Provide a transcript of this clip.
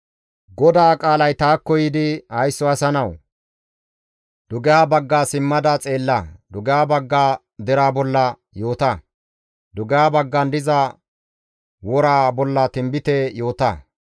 «Haysso asa nawu! Dugeha bagga simmada xeella; dugeha bagga deraa bolla yoota; dugeha baggan diza woraa bolla tinbite yoota.